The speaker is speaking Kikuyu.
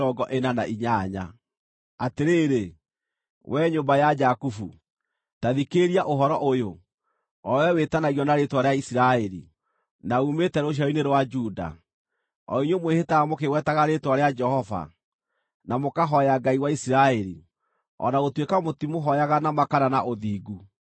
“Atĩrĩrĩ, we nyũmba ya Jakubu, ta thikĩrĩria ũhoro ũyũ, o wee wĩtanagio na rĩĩtwa rĩa Isiraeli, na uumĩte rũciaro-inĩ rwa Juda, o inyuĩ mwĩhĩtaga mũkĩgwetaga rĩĩtwa rĩa Jehova, na mũkahooya Ngai wa Isiraeli, o na gũtuĩka mũtimũhooyaga na ma kana na ũthingu,